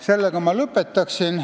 Sellega ma lõpetan.